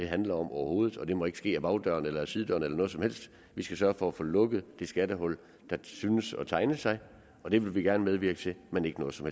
handler om overhovedet og det må ikke ske ad bagdøren eller ad sidedøren eller noget som helst vi skal sørge for at få lukket det skattehul der synes at tegne sig og det vil vi gerne medvirke til men ikke noget som